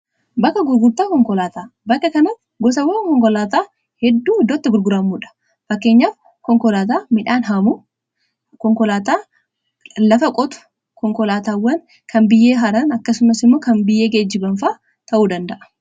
bakka gurgurtaa konkolaataa bakka kantti gosawwa konkolaataa hedduu iddootti gurguraamuudha. fakkeenyaaf konkolaataa midhaan haamu , konkolaataa lafa qotu, konkolaataawwan kan biyyee haran akkasumasimmoo kan biyyee geejiban faa ta'uu danda'a.